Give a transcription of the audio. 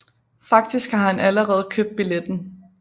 Faktisk har han allerede købt billetten